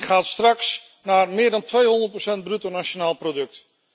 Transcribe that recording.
En hij gaat straks naar meer dan 200 procent van het bruto nationaal product.